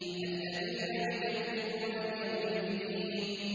الَّذِينَ يُكَذِّبُونَ بِيَوْمِ الدِّينِ